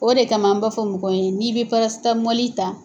O de kama an ba fɔ mɔgɔw ye n'i bɛ parasitamɔli ta